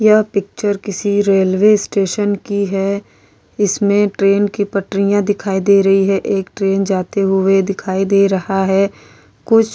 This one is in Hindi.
यह पिक्चर किसी रेलवे स्टेशन की है इसमें ट्रेन की पटरियां दिखाई दे रही है एक ट्रेन जाते हुए दिखाई दे रहा है कुछ --